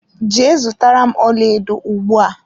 Jee zụtara m ọlaedo ugbua!